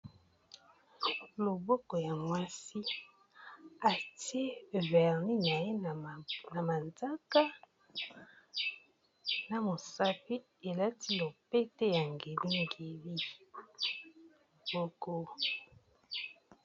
Loboko ya mwasi atie verlin na ye na mazaka na mosapi elati nopete yange mingiilboko.